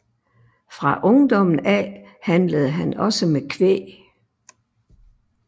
Fra ungdommen af handlede han også med kvæg